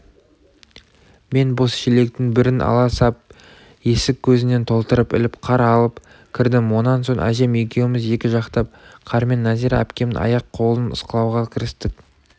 мен бос шелектің бірін ала сап есік көзінен толтырып іліп қар алып кірдім онан соң әжем екеуміз екі жақтап қармен нәзира әпкемнің аяқ-қолын ысқылауға кірістік